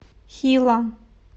хилла